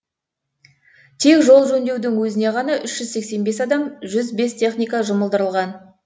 тек жол жөндеудің өзіне ғана үш жүз сексен бес адам жүз бес техника жұмылдырылған